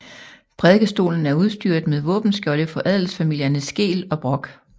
Prædikestolen er udstyret med våbenskjolde for adelsfamilierne Skeel og Brock